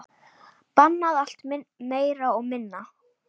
Bannað allt, meira og minna.